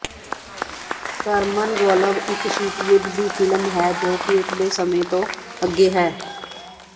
ਸਰਮਨਗੋਲਵ ਇੱਕ ਸ਼ੀਤ ਯੁੱਧ ਦੀ ਫ਼ਿਲਮ ਹੈ ਜੋ ਕਿ ਉਸਦੇ ਸਮੇਂ ਤੋਂ ਅੱਗੇ ਹੈ